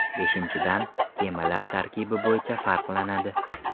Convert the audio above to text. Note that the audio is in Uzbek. Beshinchidan, kemalar tarkibi bo‘yicha farqlanadi.